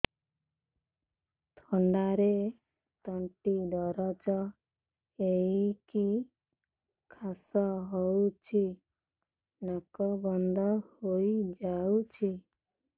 ଥଣ୍ଡାରେ ତଣ୍ଟି ଦରଜ ହେଇକି କାଶ ହଉଚି ନାକ ବନ୍ଦ ହୋଇଯାଉଛି